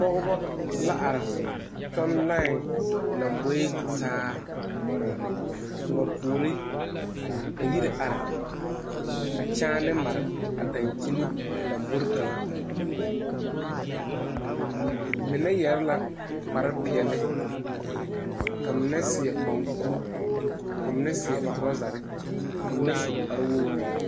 Pɔgebɔ la are kyɔŋ lãɛ lomboe tutaa ka ba puori ka yiri are ka kyaane mare a dankyini lambori kaŋa, mine yɛre la kpare peɛle ka mine seɛ mankuri ka mine seɛ torɔzare ka mine su kpare wogiri.